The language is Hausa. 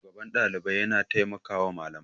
shugaban Ɗalibai yana taimakawa Malamai